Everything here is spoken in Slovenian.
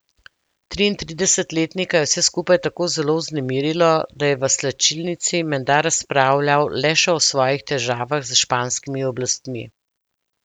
Triintridesetletnika je vse skupaj tako zelo vznemirilo, da je v slačilnici menda razpravljal le še o svojih težavah s španskimi oblastni.